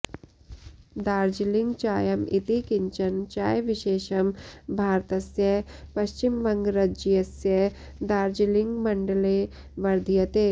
दार्जिलिङ्ग् चायम् इति किञ्चन चायविशेषं भारतस्य पश्चिमवङ्गरज्यस्य दार्जिलिङ्गमण्डले वर्ध्यते